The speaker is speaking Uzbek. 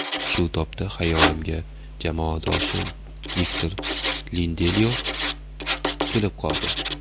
Shu tobda xayolimga jamoadoshim Viktor Lindelyof kelib qoldi.